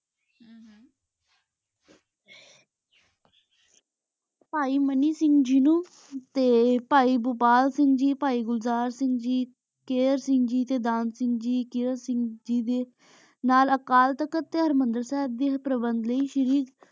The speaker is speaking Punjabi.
ਪੈ ਮਨੀ ਸਿੰਘ ਜੀ ਨੂ ਤੇ ਪੈ ਭੋਪਾਲ ਸਿੰਘ ਜੀ ਤੇ ਪੈ ਗੁਲਜ਼ਾਰ ਸਿੰਘ ਜੀ ਕਰੇ ਸਿੰਘ ਜੀ ਤੇ ਦਾਨ ਸਿੰਘ ਜੀ ਕਰੇ ਸਿੰਘ ਜੀ ਦੇ ਨਾਲ ਦੇ ਪ੍ਰਬੰਦ ਲੈ ਸ਼ੀਰੀ